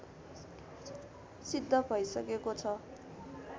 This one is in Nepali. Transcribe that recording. सिद्ध भइसकेको छ